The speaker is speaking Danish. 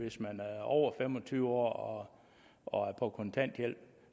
hvis man er over fem og tyve år og er på kontanthjælp